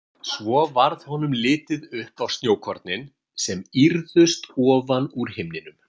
Svo varð honum litið upp á snjókornin sem ýrðust ofan úr himninum.